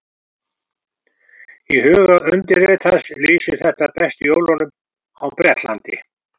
Í huga undirritaðs lýsir þetta best jólunum á Bretlandi.